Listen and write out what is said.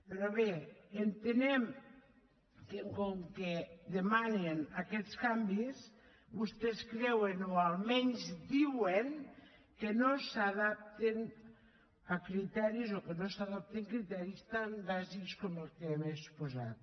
però bé entenem que com que demanen aquests canvis vostès creuen o almenys diuen que no s’adoptin criteris tan bàsics com els que hem exposat